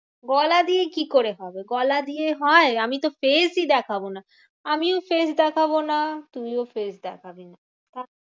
গলা দিয়ে কি করে হবে? গলা দিয়ে হয়? আমি তো face ই দেখাবো না। আমিও face দেখাবো না তুইও face দেখাবি না।